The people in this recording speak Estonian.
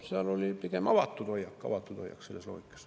Seal oli pigem avatud hoiak selles loogikas.